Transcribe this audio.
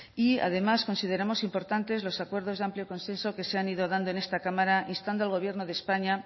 y además consideramos importantes los acuerdos de amplio consenso que se han ido dando en esta cámara instando al gobierno de españa